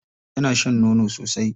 Yana shan nono sosai.